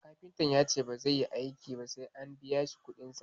A'a kafintan yace bazai yi aiki ba sai an biyashi kuɗin sa